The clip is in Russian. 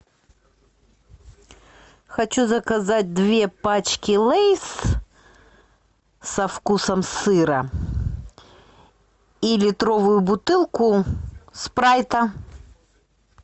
хочу заказать две пачки лейс со вкусом сыра и литровую бутылку спрайта